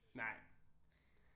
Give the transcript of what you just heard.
Nej